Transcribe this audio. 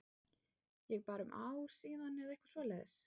Ég bara um ár síðan eða eitthvað svoleiðis?